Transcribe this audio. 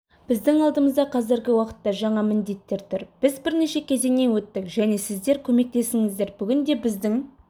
біздің алдымызда қазіргі уақытта жаңа міндеттер тұр біз бірнеше кезеңнен өттік және сіздер көмектестіңіздер бүгінде біздің